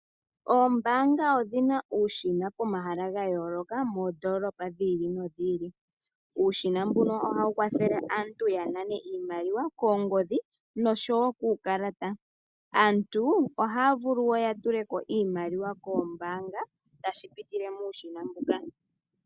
Ombaanga o dhina uushina pomahala gayooloka moondoolopa dhi ili nodhi ili uushina mbuka ohawu kwathele aantu yanane iimaliwa koongodhi no showo kuukalata ,aantu ohaya vulu wo yatuleko iimaliwa koombaanga tashi pitile muushina mbuka